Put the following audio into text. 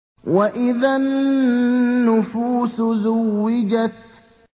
وَإِذَا النُّفُوسُ زُوِّجَتْ